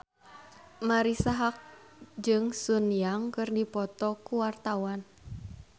Marisa Haque jeung Sun Yang keur dipoto ku wartawan